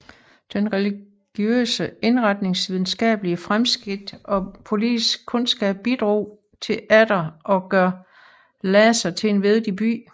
Den religiøse indretnings videnskabelige fremskridt og politiske kundskab bidrog til atter at gøre Lhasa til en vigtig by